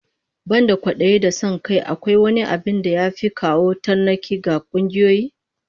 Banda kwadayi da son kai, akwai wani abin da ya fi kawo tarnaki ga kungiyoyi?